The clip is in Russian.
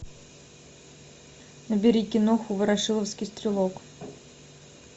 набери киноху ворошиловский стрелок